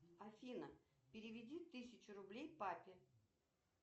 афина переведи тысячу рублей папе